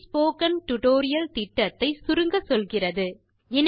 அது spoken tutorial திட்டத்தை சுருங்கச்சொல்கிறது